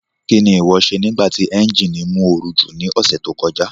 Kí ni ìwọ ṣe nígbà ti ẹ́ńjíìnì mú ooru jù ní ọ̀sẹ̀ tó kọjá?